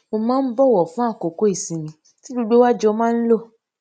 mo máa ń bòwò fún àkókò ìsinmi tí gbogbo wa jọ máa ń lò